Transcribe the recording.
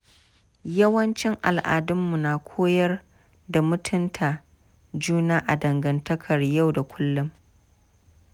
Yawancin al’adunmu na koyar da mutunta juna a dangantakar yau da kullum.